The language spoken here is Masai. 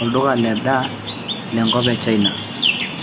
olduka le daa lenkop e china